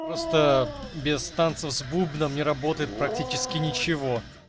просто без танцев с бубном не работает практически ничего